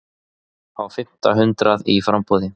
Á fimmta hundrað í framboði